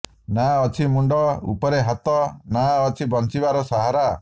ନା ଅଛି ମୁଣ୍ଡ ଉପରେ ଛାତ ନା ଅଛି ବଞ୍ଚିବାର ସାହାରା